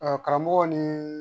karamɔgɔ nii